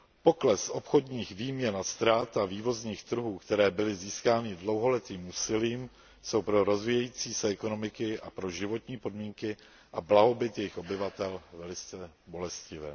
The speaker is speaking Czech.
Pokles obchodních výměn a ztráta vývozních trhů, které byly získány dlouholetým úsilím, jsou pro rozvíjející se ekonomiky a pro životní podmínky a blahobyt jejich obyvatel velice bolestivé.